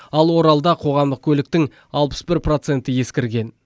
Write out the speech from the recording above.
ал оралда қоғамдық көліктің алпыс бір проценті ескірген